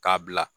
K'a bila